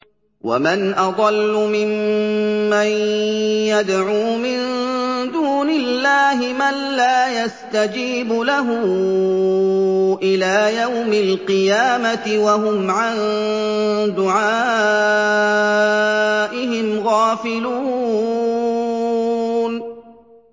وَمَنْ أَضَلُّ مِمَّن يَدْعُو مِن دُونِ اللَّهِ مَن لَّا يَسْتَجِيبُ لَهُ إِلَىٰ يَوْمِ الْقِيَامَةِ وَهُمْ عَن دُعَائِهِمْ غَافِلُونَ